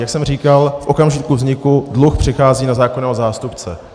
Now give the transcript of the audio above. Jak jsem říkal, v okamžiku vzniku dluh přechází na zákonného zástupce.